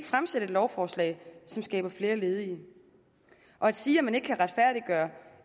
fremsat et lovforslag som skaber flere ledige og at sige at man ikke kan retfærdiggøre